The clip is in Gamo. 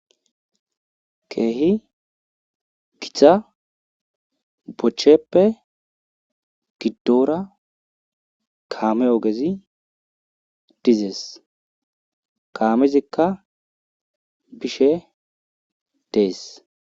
Keehi gita bochcheppe gidora kaame ogezi dizees. kaamezikka bishe dees.